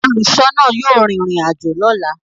Óluṣọọna yóò rin irin ajo lọla.